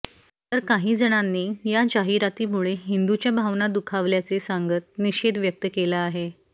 तर काहीजणांनी या जाहीरातीमुळे हिंदूच्या भावना दुखावल्याचे सांगत निषेध व्यक्त केला आहे